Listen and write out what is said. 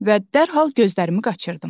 Və dərhal gözlərimi qaçırtdım.